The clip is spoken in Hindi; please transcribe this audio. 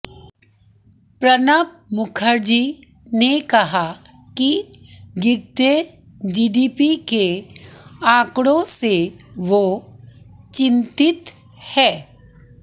प्रणव मुखर्जी ने कहा कि गिरते जीडीपी के आंकड़ों से वो चिंतित है